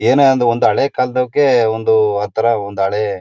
ಏನ